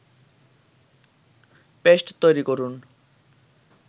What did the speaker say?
paste তৈরি করুন